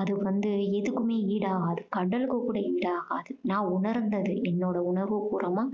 அது வந்து எதுக்குமே ஈடாகாது. கடலுக்கு கூட ஈடாகாது. நான் உணர்ந்தது. என்னோட உணர்வு பூர்வமா